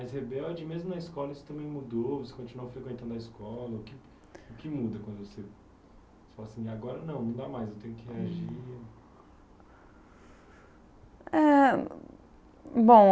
Mas, Rebelde, mesmo na escola, você também mudou, você continuou frequentando a escola, o que, o que muda quando você falou assim, agora não, não dá mais, eu tenho que reagir. É, bom